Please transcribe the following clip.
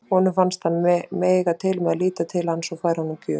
Honum fannst hann mega til með að líta til hans og færa honum gjöf.